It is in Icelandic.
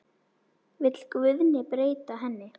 Vill Guðni breyta henni?